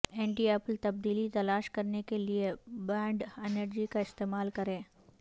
اینٹیالپل تبدیلی تلاش کرنے کے لئے بانڈ انرجی کا استعمال کریں